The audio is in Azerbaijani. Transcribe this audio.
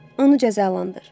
Onu cəzalandır.